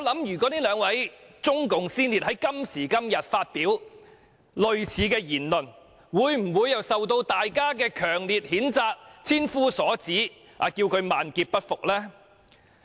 如果這兩位中共先列在今時今日發表類似言論，會否受到大家強烈譴責、千夫所指，要他們萬劫不復呢？